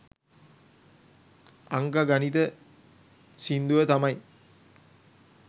අංක ගණිත සින්දුව තමයි